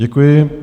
Děkuji.